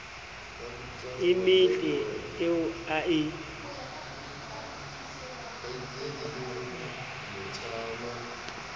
e metle eo a e